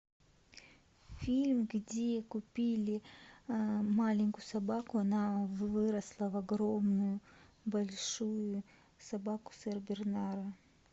фильм где купили маленькую собаку она выросла в огромную большую собаку сенбернара